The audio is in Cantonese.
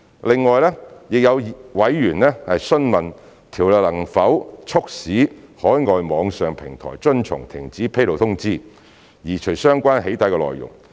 另外，亦有委員詢問有關條例能否促使海外網上平台遵從停止披露通知，移除相關"起底"內容。